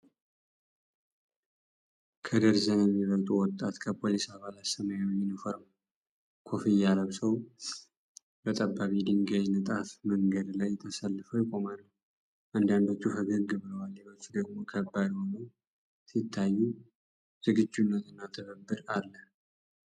ከደርዘን የሚበልጡ ወጣት የፖሊስ አባላት ሰማያዊ ዩኒፎርምና ኮፍያ ለብሰው በጠባብ የድንጋይ ንጣፍ መንገድ ላይ ተሰልፈው ይቆማሉ። አንዳንዶቹ ፈገግ ብለዋል፤ ሌሎቹ ደግሞ ከባድ ሆነው ሲታዩ፣ ዝግጁነት እና ትብብር አለ